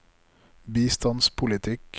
bistandspolitikk